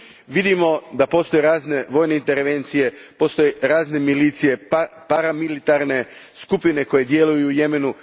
Vidimo da postoje razne vojne intervencije, razne milicije, paramilitarne skupine koje djeluju u Jemenu.